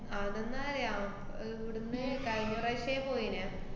അതെന്താ അറിയാ ഏർ ഇവിടിന്ന് കഴിഞ്ഞ പ്രാവശ്യേ പോയീനാ.